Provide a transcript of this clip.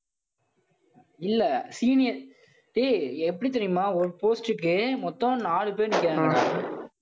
இல்லை senior ஏய் எப்படி தெரியுமா? ஒரு post க்கு மொத்தம் நாலு பேர் நிக்கறாங்க.